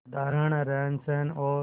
साधारण रहनसहन और